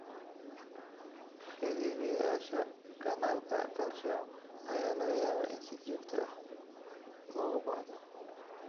Xiriyeyaasha kanaalka calcium ayaa laga yaabaa in si joogto ah loogu baahdo.